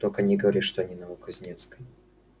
но только говорили что они на новокузнецкой